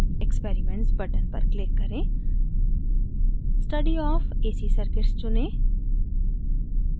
experiments button पर click करें study of ac circuits चुनें